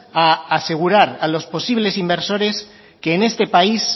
a asegurar a los posibles inversores que en este país